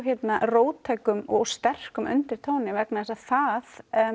róttækum og sterkum undirtónum vegna þess að það